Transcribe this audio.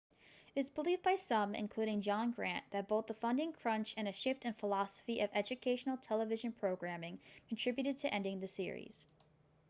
it is believed by some including john grant that both the funding crunch and a shift in the philosophy of educational television programming contributed to ending the series